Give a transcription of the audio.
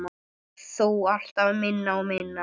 Þó alltaf minna og minna.